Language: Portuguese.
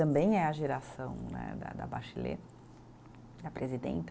Também é a geração né da da Bachelet, da presidenta.